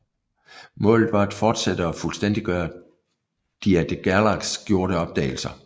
Målet var at fortsætte og fuldstændiggøre de af de Gerlache gjorte opdagelser